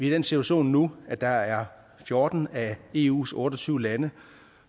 i den situation nu at der er fjorten af eus otte og tyve lande